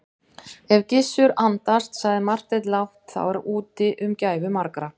Ef Gizur andast, sagði Marteinn lágt,-þá er úti um gæfu margra.